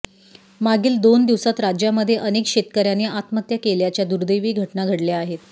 मागील दोन दिवसात राज्यामध्ये अनेक शेतकऱ्यांनी आत्महत्या केल्याच्या दुर्दैवी घटना घडल्या आहेत